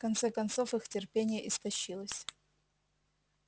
в конце концов их терпение истощилось